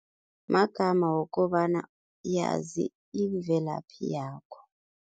Magama wokobana yazi imvelaphi yakho.